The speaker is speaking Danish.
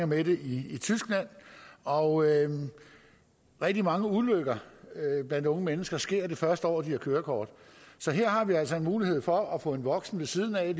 med det i tyskland og rigtig mange ulykker blandt unge mennesker sker det første år de har kørekort så her har vi altså en mulighed for at få en voksen ved siden af